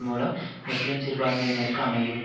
மூலம் முஸ்லீம் சிறுபான்மையினருக்கு அமையும்